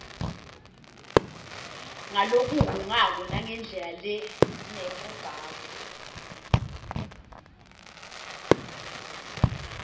ngalokuhhungako nangendlela lenebugagu